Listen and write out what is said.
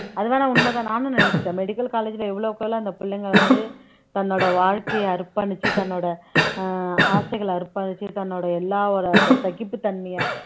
அது வேணா உண்மைதான் நானும் நினைச்சுட்டேன் medical college ல எவ்வளோக்கெவ்வளோ அந்த பிள்ளைங்க வந்து தன்னோட வாழ்க்கையை அர்ப்பணிச்சு தன்னோட ஆஹ் ஆசைகளை அர்ப்பணிச்சு தன்னோட எல்லாரோட அந்த சகிப்புத்தன்மையை